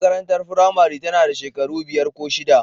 Makarantar firamare tana da shekaru biyar ko shida.